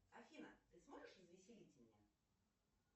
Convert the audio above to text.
афина ты сможешь развеселить меня